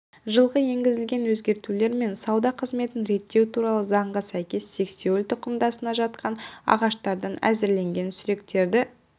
жылғы енгізілген өзгертулер мен сауда қызметін реттеу туралы заңға сәйкес сексеуіл тұқымдасына жататын ағаштардан әзірленген сүректерді